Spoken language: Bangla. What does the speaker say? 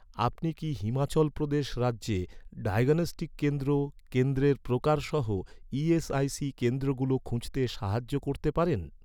আপনি কি, হিমাচল প্রদেশ রাজ্যে ডায়াগনস্টিক কেন্দ্র কেন্দ্রের প্রকার সহ, ইএসআইসি কেন্দ্রগুলো খুঁজতে সাহায্য করতে পারেন?